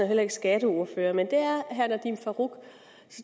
heller ikke skatteordfører men det er herre nadeem farooq